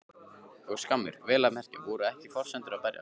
Og skammir, vel að merkja. voru ekki forsendurnar að breytast?